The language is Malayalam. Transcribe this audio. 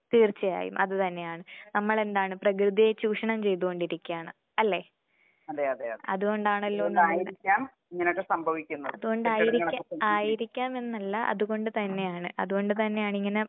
തീർച്ചയായും അത് തന്നെയാണ്. നമ്മളെന്താണ് പ്രകൃതിയെ ചൂഷണം ചെയ്തുകൊണ്ടിരിക്കാണ് അല്ലെ? അതുകൊണ്ടാണല്ലോ അതുകൊണ്ടതായിരിക്കാം എന്നല്ല അതുകൊണ്ട്‌, അതുകൊണ്ട് തന്നെയാണ് ഇങ്ങനെ